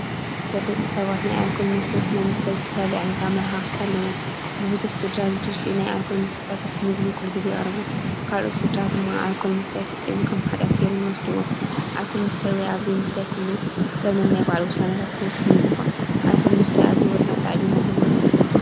ደቂ ሰባት ናይ ኣልኮል መስተ ኮይኑ ስለምስታይ ዝተፈላለየ ዓይነት ኣመለኻኽታ ኣለዎም። ንብዙሕ ስድራ ኣብቲ ውሽጢ ኣልኮላት መስተታት ምስ ምግቢ ኩሉ ግዜ ይቐርቡ። ካልኦት ስድራ ድማ ኣልኮል ምስታይ ፈፂሙ ከም ሓጢያት ጌሮም ይወስድዎ። ኣልኮል ምስታይ ወይ ኣብዘይምስታይ ሰብ ኩሉ ነናይ ባዕሉ ውሳነታት ክውስን ይግባእ። ኣልኮል ምስታይ ኣብ ህይወትና ሳዕቤን ኣለዎ ዶ?